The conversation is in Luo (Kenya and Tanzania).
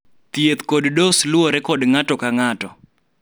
thieth kod dos luore kod ng'ato kang'ato